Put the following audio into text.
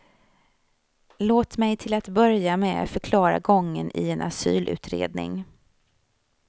Låt mig till att börja med förklara gången i en asylutredning.